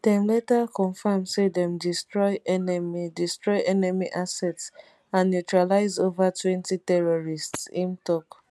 dem later confirm say dem destroy enemy destroy enemy assets and neutralise overtwentyterrorists im tok